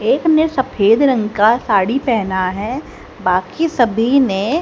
एक ने सफेद रंग का साड़ी पहना है बाकी सभी ने--